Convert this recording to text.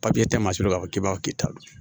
Papiye tɛ masin b'a fɔ k'i b'a fɔ k'i ta don